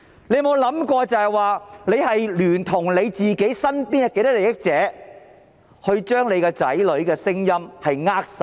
你有沒有想過你聯同身邊多少的既得利益者將子女的聲音扼殺？